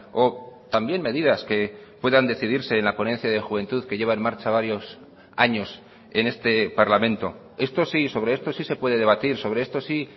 o también medidas que puedan decidirse en la ponencia de juventud que lleva en marcha varios años en este parlamento esto sí sobre esto sí se puede debatir sobre esto sí